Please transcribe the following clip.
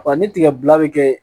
Wa ni tigɛ bila bi kɛ